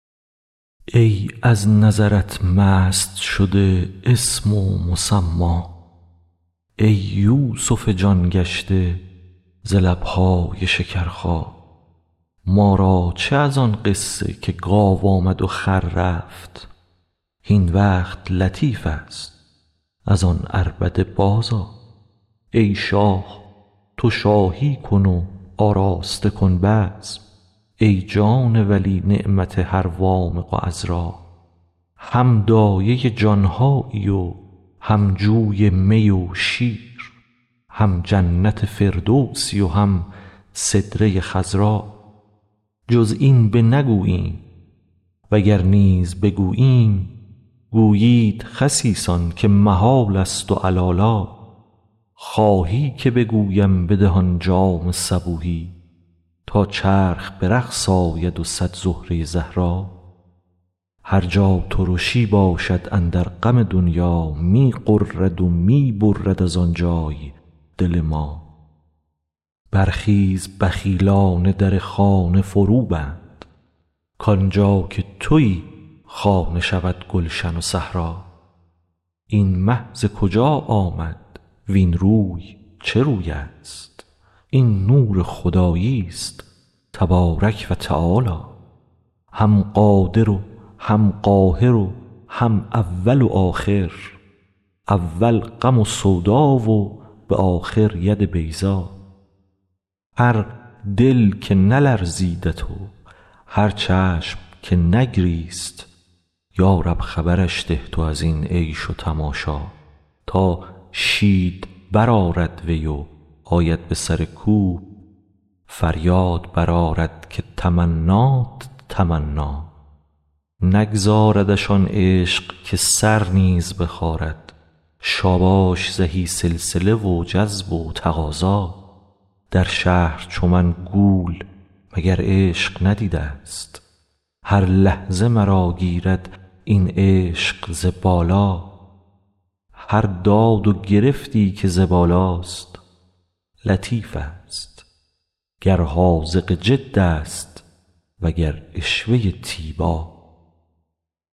ای از نظرت مست شده اسم و مسما ای یوسف جان گشته ز لب هات شکرخا ما را چه از آن قصه که گاو آمد و خر رفت هین وقت لطیف است از آن عربده بازآ ای شاه تو شاهی کن و آراسته کن بزم ای جان ولی نعمت هر وامق و عذرا هم دایه جان هایی و هم جوی می و شیر هم جنت فردوسی و هم سدره خضرا جز این بنگوییم وگر نیز بگوییم گویند خسیسان که محالست و علالا خواهی که بگویم بده آن جام صبوحی تا چرخ به رقص آید و صد زهره زهرا هر جا ترشی باشد اندر غم دنیا می غرد و می برد از آن جای دل ما برخیز بخیلا نه در خانه فروبند کان جا که توی خانه شود گلشن و صحرا این مه ز کجا آمد وین روی چه روی است این نور خداییست تبارک و تعالی هم قادر و هم قاهر و هم اول و آخر اول غم و سودا و به آخر ید بیضا هر دل که نلرزیدت و هر چشم که نگریست یا رب خبرش ده تو از این عیش و تماشا تا شید برآرد وی و آید به سر کوی فریاد برآرد که تمنیت تمنا نگذاردش آن عشق که سر نیز بخارد شاباش زهی سلسله و جذب و تقاضا در شهر چو من گول مگر عشق ندیده ست هر لحظه مرا گیرد این عشق ز بالا هر داد و گرفتی که ز بالاست لطیفست گر حاذق جد است وگر عشوه تیبا